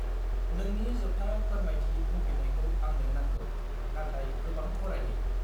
नोंनि जोबथा फोरमायथि बुंफिननायखौ आंनो नांगौ, नाथाय गोबां खरायै।